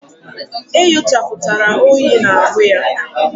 E nyochaputara oyi na-ahu ya